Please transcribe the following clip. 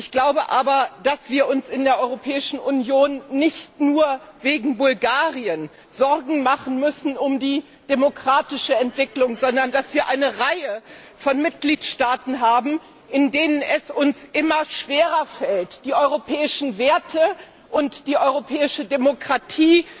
Ich glaube aber, dass wir uns in der Europäischen Union nicht nur wegen Bulgarien Sorgen um die demokratische Entwicklung machen müssen, sondern dass wir eine Reihe von Mitgliedstaaten haben, in denen es uns immer schwerer fällt, die europäischen Werte und die europäische Demokratie